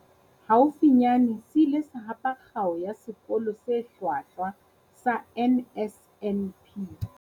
Haufinyane se ile sa hapa Kgao ya sekolo se Hlwahlwa sa NSNP.